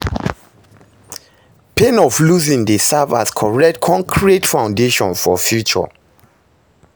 Pain of losing dey serve as correct konkrete foundation for future